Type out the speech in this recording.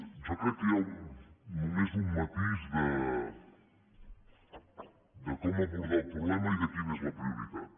jo crec que hi ha només un matís de com abordar el problema i de quina és la prioritat